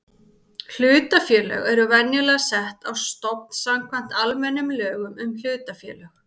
Hlutafélög eru venjulega sett á stofn samkvæmt almennum lögum um hlutafélög.